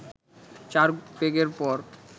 চার পেগের পর